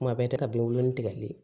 Kuma bɛɛ tɛ ka bin wolonwula le